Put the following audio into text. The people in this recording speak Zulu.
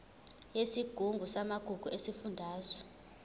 yesigungu samagugu sesifundazwe